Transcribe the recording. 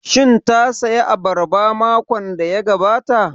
Shin ta saya abarba makon da ya gabata?